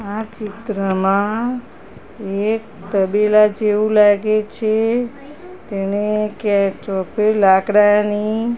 આ ચિત્રમાં એક તબેલા જેવુ લાગે છે તેને લાકડાની--